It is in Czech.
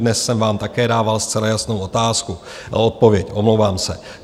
Dnes jsem vám také dával zcela jasnou otázku - odpověď, omlouvám se.